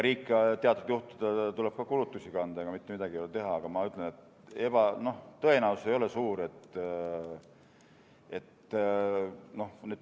Riigil tuleb teatud juhtudel ka kulutusi kanda, ega midagi ei ole teha, aga ma ütlen, et see tõenäosus ei ole suur.